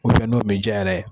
n'o min diya yɛrɛ.